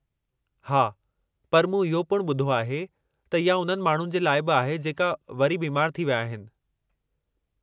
हा, पर मूं इहो पिणु ॿुधो आहे त इहा उन्हनि माण्हुनि जे लाइ बि आहे जेके वरी बीमारु थी विया आहिनि।